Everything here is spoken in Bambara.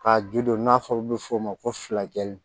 Ka ju don n'a fɔra olu bɛ fɔ o ma ko filajɛ